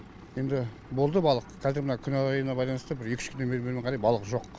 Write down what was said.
енді болды балық қазір мына күн ауарайына байланысты бір екі үш күннен бермен қарай балық жоқ